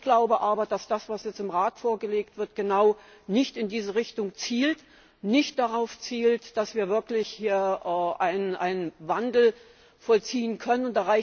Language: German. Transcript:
Ich glaube aber, dass das, was jetzt im Rat vorgelegt wird, eben nicht in diese Richtung zielt, nicht darauf zielt, dass wir wirklich einen Wandel vollziehen können.